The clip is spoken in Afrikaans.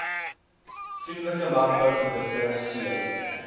vriendelike landbouprodukte c